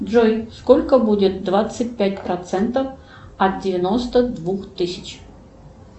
джой сколько будет двадцать пять процентов от девяносто двух тысяч